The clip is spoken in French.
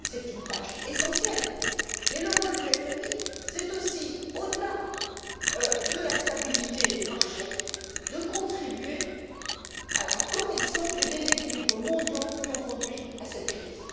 C'est une tâche essentielle, mais le rôle du FMI est aussi, au delà de la stabilité des marchés, de contribuer à la correction des déséquilibres mondiaux qui ont conduit à cette crise.